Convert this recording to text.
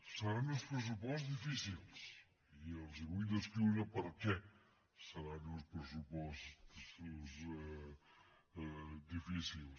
seran uns pressupostos difícils i els vull descriure per què seran uns pressupostos difícils